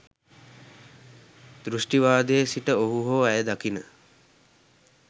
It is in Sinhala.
දෘෂ්ටිවාදයේ සිට ඔහු හෝ ඇය දකින